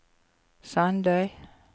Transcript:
Sandøy